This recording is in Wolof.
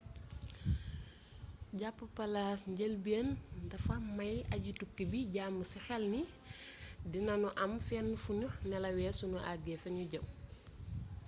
jàpp palaas ci njëlbeen dafax may aji-tukki bi jàmm ci xel ni dina ñu am fenn fuñuy nelawee suñu àgee fiñu jëm